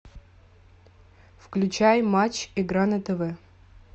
включай матч игра на тв